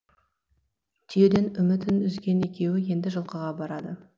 түйеден үмітін үзген екеуі енді жылқыға барады